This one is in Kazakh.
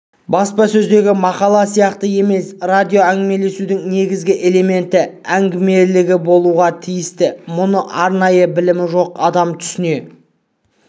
баспасөздегі мақала сияқты емес радиоәңгімелесудің негізгі элементі әңгімелілігі болуға тиісті мұны арнайы білімі жоқ адам түсіне